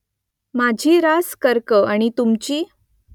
माझी रास कर्क आहे आणि तुमची ?